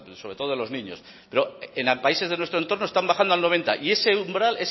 sobre todo de los niños en países de nuestro entorno están bajando al noventa y ese umbral